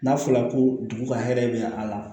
N'a fɔra ko dugu ka hɛrɛ bɛ a la